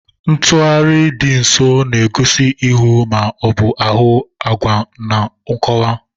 Ntugharị dị nso na-egosi ihu ma ọ bụ ahụ agwa na nkọwa.